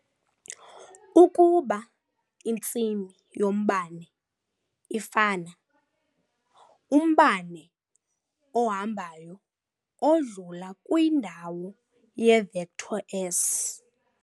Ukuba intsimi yombane ifana, umbane ohambayo odlula kwindawo ye -vector S